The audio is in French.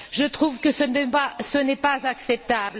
Je trouve que ce débat n'est pas acceptable.